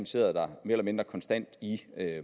sidder mere eller mindre konstant i